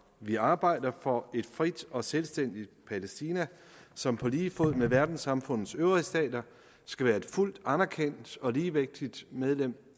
vi arbejder for et frit og selvstændigt palæstina som på lige fod med verdenssamfundets øvrige stater skal være et fuldt anerkendt og ligeværdigt medlem